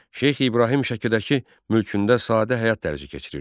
Şeyx İbrahim Şəkidəki mülkündə sadə həyat tərzi keçirirdi.